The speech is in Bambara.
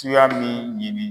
Tuya min ɲɛni